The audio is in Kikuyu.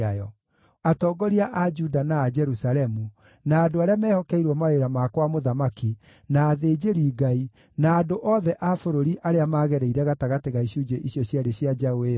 Atongoria a Juda na a Jerusalemu, na andũ arĩa mehokeirwo mawĩra ma kwa mũthamaki, na athĩnjĩri-Ngai, na andũ othe a bũrũri arĩa magereire gatagatĩ ga icunjĩ icio cierĩ cia njaũ ĩyo-rĩ,